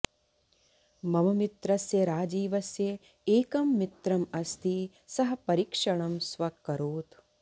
मम मित्रस्य राजीवस्य एकं मित्रम् अस्ति सः परिक्षणं स्व्यकरोत्